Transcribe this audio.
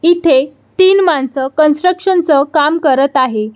इथे तीन माणस कन्स्ट्रकशन च काम करत आहे.